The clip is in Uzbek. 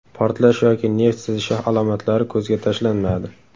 Portlash yoki neft sizishi alomatlari ko‘zga tashlanmadi.